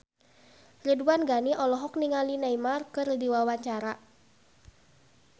Ridwan Ghani olohok ningali Neymar keur diwawancara